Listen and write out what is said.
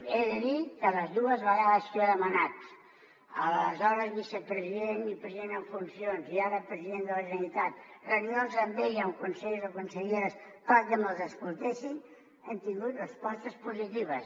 he de dir que les dues vegades que jo he demanat a l’aleshores vicepresident i president en funcions i ara president de la generalitat reunions amb ell amb consellers o conselleres perquè me’ls escoltessin hem tingut respostes positives